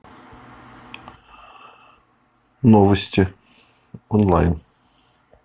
новости онлайн